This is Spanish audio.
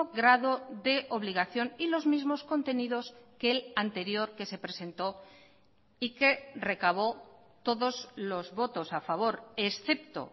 grado de obligación y los mismos contenidos que el anterior que se presentó y que recabó todos los votos a favor excepto